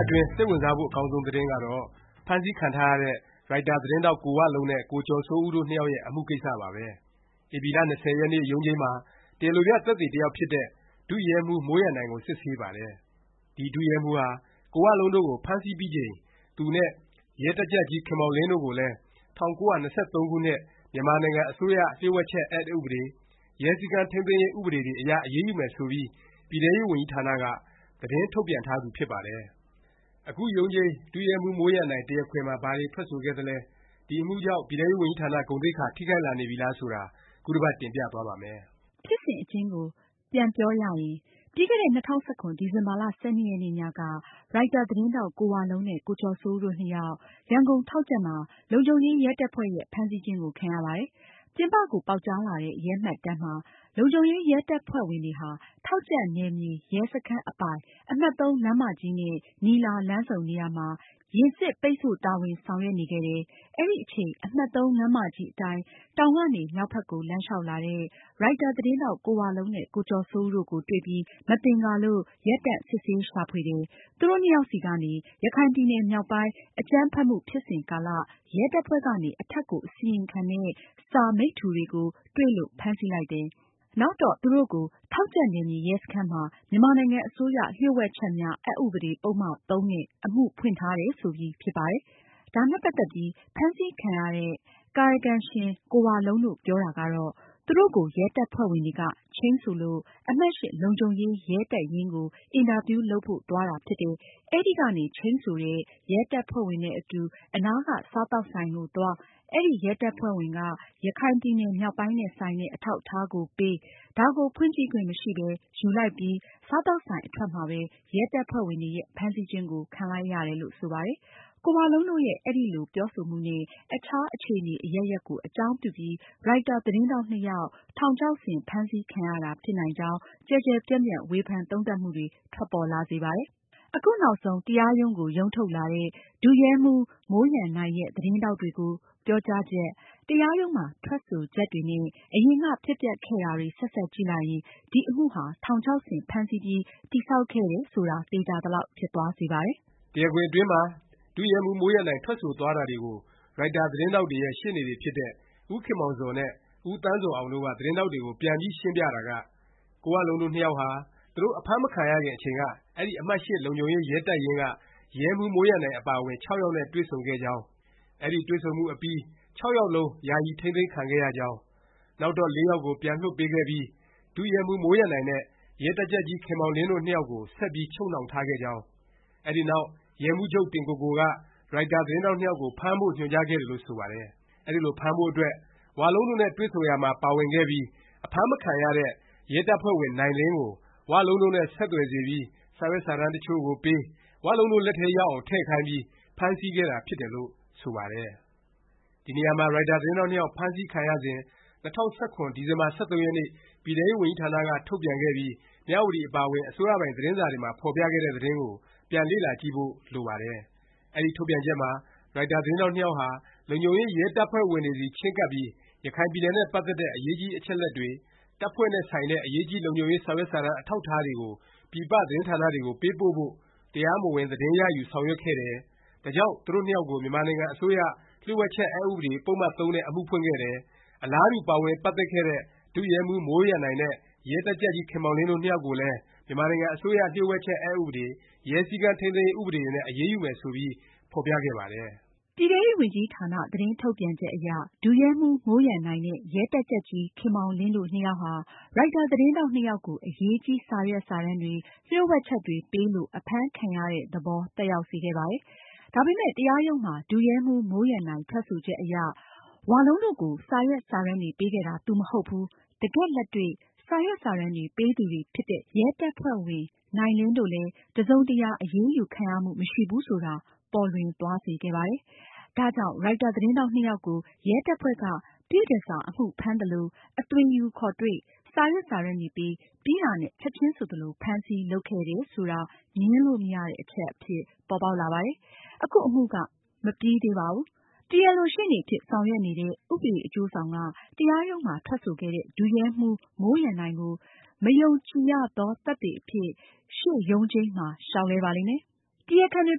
အတွင်း စိတ်ဝင်စားဖို့ အကောင်းဆုံး သတင်းကတော့ ဖမ်းဆီးခံထားရတဲ့ ရိုက်တာသတင်းထောက် ကိုဝလုံးနဲ့ ကိုကျော်စိုးဦးတို့နှစ်ယောက်ရဲ့ အမှုကိစ္စပါပဲ။ ဧပြီလ ၂၀ ရက်နေ့ ရုံးချိန်းမှာ တရားလိုပြ သက်သေတစ်ယောက်ဖြစ်တဲ့ ဒုရဲမှူးမိုးရန်နိုင်ကို စစ်ဆေးပါတယ်။ ဒီ ဒုရဲမှူးဟာ ကိုဝလုံးတို့ကို ဖမ်းဆီးပြီးချိန် သူနဲ့ ရဲတပ်ကြပ်ကြီး ခင်မောင်လင်းတို့ကိုလည်း ၁၉၂၃ ခုနှစ် မြန်မာနိုင်ငံအစိုးရ လျှို့ဝှက်ချက် အက်ဥပဒေ၊ ရဲစည်းကမ်း ထိမ်းသိမ်းရေး ဥပဒေတွေ အရ အရေးယူမယ် ဆိုပြီး ပြည်ထဲရေးဝန်ကြီးဌာနက သတင်းထုတ်ပြန်ထားသူ ဖြစ်ပါတယ်။ အခုရုံးချိန်း ဒုရဲမှူးမိုးရန်နိုင် တရားခွင်မှာ ဘာတွေ ထွက်ဆိုခဲ့သလဲ၊ ဒီအမှုကြောင့် ပြည်ထဲရေးဝန်ကြီးဌာန ဂုဏ်သိက္ခာ ထိခိုက်လာနေပြီလား ဆိုတာ ခုတစ်ပတ် တင်ပြသွားပါ့မယ်။ ဖြစ်စဉ်အကျဉ်းကို ပြန်ပြောပြရရင် ပြီးခဲ့တဲ့ ၂၀၁၇ ဒီဇင်ဘာ ၁၂ ရက်နေ့ညက ရိုက်တာ သတင်းထောက် ကိုဝလုံးနဲ့ ကိုကျော်စိုးဦးတို့ နှစ်ယောက်၊ ရန်ကုန် ထောက်ကြံ့မှာ လုံခြုံရေးရဲတပ်ဖွဲ့ရဲ့ ဖမ်းဆီးခြင်းကို ခံရပါတယ်။ ပြင်ပကို ပေါက်ကြားလာတဲ့ ရဲမှတ်တမ်းမှာ လုံခြုံရေးရဲတပ်ဖွဲ့ဝင်တွေဟာ ထောက်ကြံ့နယ်မြေ ရဲစခန်းအပိုင် အမှတ် ၃ လမ်းမကြီးနဲ့ နီလာ လမ်းဆုံနေရာမှာ ယာဉ်စစ် ပိတ်ဆို့တာဝန်ဆောင်ရွက်နေခဲ့တယ်။ အဲဒီအချိန် အမှတ် လမ်းမကြီးအတိုင်း တောင်ကနေ မြောက်ဘက်ကို လမ်းလျောက်လာတဲ့ ရိုက်တာသတင်းထောက် ကိုဝလုံးနဲ့ ကိုကျော်စိုးဦးတို့ကို တွေ့ပြီး မသင်္ကာလို့ ရပ်တန့် စစ်ဆေး ရှာဖွေတယ်၊ သူတို့နှစ်ယောက်ဆီကနေ ရခိုင်ပြည်နယ် မြောက်ပိုင်း အကြမ်းဖက်မှု ဖြစ်စဉ်ကာလ ရဲတပ်ဖွဲ့ကနေ အထက်ကို အစီရင်ခံတဲ့ စာ မိတ္တူတွေကို တွေ့လို့ ဖမ်းဆီးလိုက်တယ်၊ နောက်တော့ သူတို့ကို ထောက်ကြံ့နယ်မြေ ရဲစခန်းမှာ မြန်မာနိုင်ငံအစိုးရ လှို့ဝှက်ချက်များ အက်ဥပဒေ ပုဒ်မ ၃ နဲ့ အမှုဖွင့်ထားတယ် ဆိုပြီး ဖြစ်ပါတယ်။ ဒါနဲ့ပတ်သက်ပြီး ဖမ်းဆီးခံရတဲ့ ကာယကံရှင် ကိုဝလုံးတို့ ပြောတာကတော့ သူတို့ကို ရဲတပ်ဖွဲ့ဝင်တွေက ချိန်းဆိုလို့ အမှတ် လုံခြုံရေး ရဲတပ်ရင်းကို အင်တာဗျူးလုပ်ဖို့ သွားတာဖြစ်တယ်၊ အဲဒီကနေ ချိန်းဆိုတဲ့ ရဲတပ်ဖွဲ့ဝင်နဲ့အတူ အနားက စားသောက်ဆိုင်ကိုသွား၊ အဲဒီ ရဲတပ်ဖွဲ့ဝင်က ရခိုင်ပြည်နယ် မြောက်ပိုင်းနဲ့ ဆိုင်တဲ့ အထောက်အထားကိုပေး၊ ဒါကိုဖွင့်ကြည့်ခွင့်မရှိပဲ ယူလိုက်ပြီး စားသောက်ဆိုင် အထွက်မှာပဲ ရဲတပ်ဖွဲ့ဝင်တွေရဲ့ ဖမ်းဆီးခြင်းကို ခံလိုက်ရတယ်လို့ ဆိုပါတယ်။ ကိုဝလုံးတို့ရဲ့ အဲဒီလို ပြောဆိုမှု နဲ့ အခြား အခြေအနေ အရပ်ရပ်ကို အကြောင်းပြုပြီး ရိုက်တာ သတင်းထောက်နှစ်ယောက် ထောင်ချောက်ဆင် ဖမ်းဆီးခံရတာ ဖြစ်နိုင်ကြောင်း ကျယ်ကျယ်ပြန့်ပြန့် ဝေဖန်သုံးသပ်မှုတွေ ထွက်ပေါ်လာစေပါတယ်။ အခုနောက်ဆုံး တရားရုံးကို ရုံးထုတ်လာတဲ့ ဒုရဲမှူး မိုးရန်နိုင်ရဲ့ သတင်းထောက်တွေကို ပြောကြားချက်၊ တရားရုံးမှာ ထွက်ဆိုချက်တွေနဲ့ အရင်က ဖြစ်ပျက်ခဲ့တာတွေ ဆက်စပ်ကြည့်လိုက်ရင် ဒီ အမှုဟာ ထောင်ချောက်ဆင် ဖမ်းဆီးပြီး တည်ဆောက်ခဲ့တယ် ဆိုတာ သေခြာသလောက် ဖြစ်သွားစေပါတယ်။ တရားခွင်အတွင်းမှာ ဒုရဲမှူးမိုးရန်နိုင် ထွက်ဆိုသွားတာတွေကို ရိုက်တာသတင်းထောက်တွေရဲ့ ရှေ့နေတွေဖြစ်တဲ့ ဦးခင်မောင်ဇော်နဲ့ ဦးသန်းဇော်အောင်တို့ သတင်းထောက်တွေကို ပြန်ပြီး ရှင်းပြတာက ကိုဝလုံးတို့ နှစ်ယောက်ဟာ သူတို့ အဖမ်းမခံရခင် အချိန်က အဲဒီ အမှတ် လုံခြုံရေး ရဲတပ်ရင်းက ရဲမှူး မိုးရန်နိုင်အပါအဝင် ယောက်နဲ့ တွေ့ဆုံခဲ့ကြောင်း၊ အဲဒီတွေ့ဆုံမှု အပြီး ယောက်လုံး ယာယီ ထိမ်းသိမ်းခံခဲ့ရကြောင်း၊ နောက်တော့ ယောက်ကို ပြန်လွှတ်ပေးခဲ့ပြီး ဒုရဲမှူးမိုးရန်နိုင်နဲ့ ရဲတပ်ကြပ်ကြီး ခင်မောင်လင်းတို့ နှစ်ယောက်ကို ဆက်ပြီး ချုပ်နှောင်ထားခဲ့ကြောင်း၊ အဲဒီနောက် ရဲမှူးချုပ် တင်ကိုကိုက ရိုက်တာ သတင်းထောက် နှစ်ယောက်ကို ဖမ်းဖို့ ညွှန်ကြားခဲ့တယ်လို့ ဆိုပါတယ်။ အဲဒီလို ဖမ်းဖို့ အတွက် ဝလုံးတို့နဲ့ တွေ့ဆုံရာမှာ ပါဝင်ခဲ့ပြီး အဖမ်းမခံရတဲ့ ရဲတပ်ဖွဲ့ဝင် နိုင်လင်းကို ဝလုံးနဲ့ ဆက်သွယ်စေပြီး၊ စာရွက်စာတမ်း တစ်ချို့ကိုပေး၊ ဝလုံးတို့ လက်ထဲ ရောက်အောင် ထည့်ခိုင်းပြီး ဖမ်းဆီးခဲ့တာ ဖြစ်တယ်လို့ ဆိုပါတယ်။ ဒီနေရာမှာ ရိုက်တာ သတင်းထောက် နှစ်ယောက် ဖမ်းဆီးခံရစဉ် ၂၀၁၇ ဒီဇင်ဘာ ၁၃ရက်နေ့ ပြည်ထဲရေးဝန်ကြီးဌာနက ထုတ်ပြန်ခဲ့ပြီး မြဝတီ အပါအဝင် အစိုးရပိုင် သတင်းစာတွေမှာ ဖော်ပြခဲ့တဲ့ သတင်းကို ပြန်လေ့လာကြည့်ဖို့ လိုပါတယ်။ အဲဒီ ထုတ်ပြန်ချက်မှာ ရိုက်တာ သတင်းထောက်နှစ်ယောက်ဟာ လုံခြုံရေးရဲတပ်ဖွဲ့ဝင်တွေဆီ ချဉ်းကပ်ပြီး ရခိုင်ပြည်နယ်နဲ့ ပတ်သက်တဲ့ အရေးကြီး အချက်အလက်တွေ၊ တပ်ဖွဲ့နဲ့ ဆိုင်တဲ့ အရေးကြီး လုံခြုံရေး စာရွက်စာတမ်း အထောက်အထားတွေကို ပြည်ပသတင်းဌာနတွေကို ပေးပို့ဖို့ တရားမဝင် သတင်းရယူ ဆောင်ရွက်ခဲ့တယ်၊ ဒါကြောင့် သူတို့နှစ်ယောက်ကို မြန်မာနိုင်ငံ အစိုးရ လျှို့ဝှက်ချက် အက်ဥပဒေ ပုဒ်မ ၃ နဲ့ အမှုဖွင့်ခဲ့တယ်၊ အလားတူ ပါဝင်ပတ်သက်ခဲ့တဲ့ ဒုရဲမှူး မိုးရန်နိုင်နဲ့ ရဲတပ်ကြပ်ကြီး ခင်မောင်လင်း တို့နှစ်ယောက်ကိုလည်း မြန်မာနိုင်ငံ အစိုးရ လျှို့ဝှက်ချက် အက်ဥပဒေ၊ ရဲစည်းကမ်း ထိမ်းသိမ်းရေး ဥပဒေတွေနဲ့ အရေးယူမယ်ဆိုပြီး ဖော်ပြခဲ့ပါတယ်။ ပြည်ထဲရေးဝန်ကြီးဌာန သတင်းထုတ်ပြန်ချက်အရ ဒုရဲမှူး မိုးရန်နိုင်နဲ့ ရဲတပ်ကြပ်ကြီး ခင်မောင်လင်းတို့ နှစ်ယောက်ဟာ ရိုက်တာ သတင်းထောက်နှစ်ယောက်ကို အရေးကြီး စာရွက်စာတမ်းတွေ၊ လျှို့ဝှက်ချက်တွေ ပေးလို့ အဖမ်းခံရတဲ့ သဘော သက်ရောက်စေခဲ့ပါတယ်။ ဒါပေမယ့် တရားရုံးမှာ ဒုရဲမှူး မိုးရန်နိုင် ထွက်ဆိုချက်အရ ဝလုံးတို့ကို စာရွက်စာတမ်းတွေ ပေးခဲ့တာ သူ မဟုတ်ဘူး၊ တကယ့်လက်တွေ့ စာရွက်စာတမ်းတွေ ပေးသူတွေဖြစ်တဲ့ ရဲတပ်ဖွဲ့ဝင် နိုင်လင်းတို့လည်း တစ်စုံတစ်ရာ အရေးယူခံရမှု မရှိဘူးဆိုတာ ပေါ်လွင်သွားစေခဲ့ပါတယ်။ ဒါကြောင့် ရိုက်တာသတင်းထောက်နှစ်ယောက်ကို ရဲတပ်ဖွဲ့က ပြည့်တန်ဆာ အမှုဖမ်းသလို၊ အသွင်ယူ ခေါ်တွေ့၊ စာရွက်စာတမ်းတွေပေး၊ ပြီးတာနဲ့ ချက်ခြင်းဆိုသလို ဖမ်းဆီး လုပ်ခဲ့တယ် ဆိုတာ ငြင်းလို့မရတဲ့ အချက် အဖြစ် ပေါ်ပေါက်လာပါတယ်။ အခု အမှုက မပြီးသေးပါဘူး။ တရားလို ရှေ့နေအဖြစ် ဆောင်ရွက်နေတဲ့ ဥပဒေအကျိုးဆောင်က တရားရုံးမှာ ထွက်ဆိုခဲ့တဲ့ ဒုရဲမှူး မိုးရန်နိုင်ကို မယုံကြည်ရသော သက်သေ အဖြစ် ရှေ့ရုံးချိန်းမှာ လျောက်လဲပါလိမ့်မယ်။ တရားခံတွေ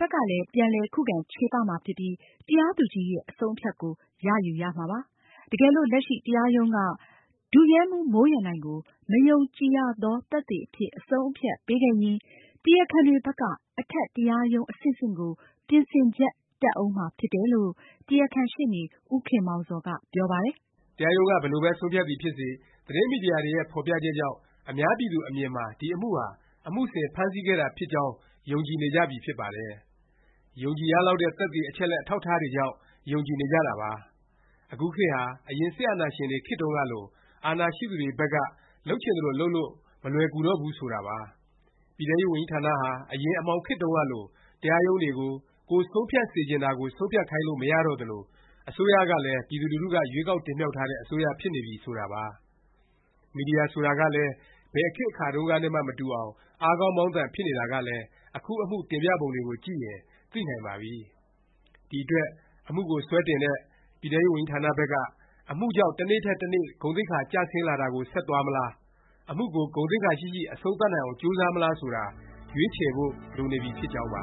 ဘက်ကလည်း ပြန်လည် ခုခံချေပမှာ ဖြစ်ပြီး တရားသူကြီးရဲ့ အဆုံးအဖြတ်ကို ရယူရမှာပါ။ တကယ်လို့ လက်ရှိ တရားရုံးက ဒုရဲမှူးမိုးရန်နိုင်ကို မယုံကြည်ရသော သက်သေအဖြစ် အဆုံးအဖြတ် ပေးခဲ့ရင် တရားခံတွေဘက်က အထက် တရားရုံး အဆင့်ဆင့်ကို ပြင်ဆင်ချက် တက်ဦးမှာ ဖြစ်တယ်လို့ တရားခံရှေ့နေ ဦးခင်မောင်ဇော်က ပြောပါတယ်။ တရားရုံးက ဘယ်လိုပဲ ဆုံးဖြတ်သည်ဖြစ်စေ သတင်းမီဒီယာတွေရဲ့ ဖော်ပြချက်ကြောင့် အများပြည်သူ အမြင်မှာ ဒီအမှုဟာ အမှုဆင် ဖမ်းဆီးခဲ့တာဖြစ်ကြောင်း ယုံကြည်နေကြပြီ ဖြစ်ပါတယ်။ ယုံကြည်ရလောက်တဲ့ သက်သေ အချက်အလက် အထောက်အထားတွေကြောင့် ယုံကြည်နေကြတာ ဖြစ်ပါတယ်။ အခုခေတ်ဟာ အရင် စစ်အာဏာရှင်တွေ ခေတ်တုန်းကလို အာဏာရှိသူတွေဘက်က လုပ်ချင်သလို လုပ်လို့ မလွယ်ကူတော့ဘူး ဆိုတာပါ။ ပြည်ထဲရေးဝန်ကြီးဌာနဟာ အရင် အမှောင်ခေတ်တုန်းကလို တရားရုံးတွေကို ကိုယ်ဆုံးဖြတ်စေချင်တာကို ဆုံးဖြတ်ခိုင်းလို့ မရတော့သလို၊ အစိုးရကလည်း ပြည်သူလူထုက ရွေးကောက်တင်မြှောက်ထားတဲ့ အစိုးရဖြစ်နေပြီ ဆိုတာပါ။ မီဒီယာ ဆိုတာကလည်း ဘယ်ခေတ်အခါတုန်းကနဲ့မှ မတူအောင် အားကောင်းမောင်းသန် ဖြစ်နေတာကလည်း အခုအမှု တင်ပြပုံတွေကိုကြည့်ရင် သိနိုင်ပါပြီ။ ဒီအတွက် အမှုကို စွဲတင်တဲ့ ပြည်ထဲရေးဝန်ကြီးဌာနဘက်က အမှုကြောင့် တစ်နေ့ထက် တစ်နေ့ ဂုဏ်သိက္ခာ ကျဆင်းလာတာကို ဆက်သွားမလား၊ အမှုကို ဂုဏ်သိက္ခာရှိရှိ အဆုံးသတ်နိုင်အောင် ကြိုးစားမလား ဆိုတာ ရွေးချယ်ဖို့ လိုနေပြီ ဖြစ်ကြောင်းပါ